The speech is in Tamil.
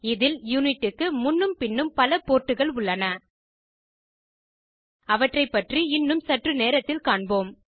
இதில் யூனிட்க்கு முன்னும் பின்னும் பல போர்ட்டுகள் உள்ளன அவற்றை பற்றி இன்னும் சற்று நேரத்தில் காண்போம்